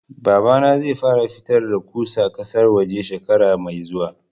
Babana zai fara fitar da ƙusa ƙasar waje shekara mai zuwa